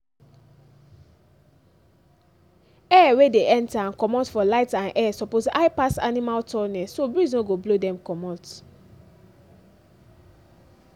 air wey dey enter and comot for light and air suppose high pass animal tallness so breeze no go blow dem comut